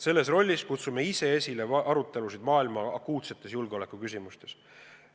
Selles rollis kutsume ise esile arutelusid maailma akuutsetes julgeolekuküsimustes.